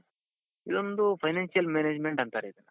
ಇದೊಂದು financial management ಅಂತಾರೆ ಇದನ್ನ.